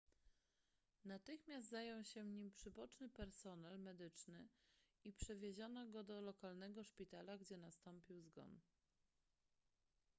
natychmiast zajął się nim przyboczny personel medyczny i przewieziono go do lokalnego szpitala gdzie nastąpił zgon